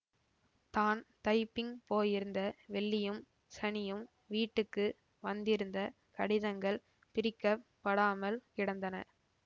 தான் தைப்பிங் போயிருந்த வெள்ளியும் சனியும் வீட்டுக்கு வந்திருந்த கடிதங்கள் பிரிக்கப் படாமல் கிடந்தன